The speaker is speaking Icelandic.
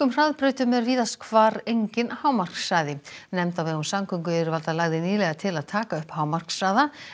hraðbrautum er víðast hvar enginn hámarkshraði nefnd á vegum samgönguyfirvalda lagði nýlega til að taka upp hámarkshraða